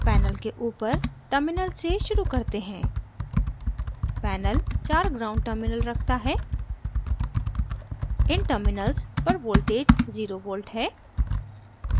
panel के ऊपर terminals से शुरू करते हैं panel चार ground terminals रखता है इन terminals पर voltage zero volt 0 v है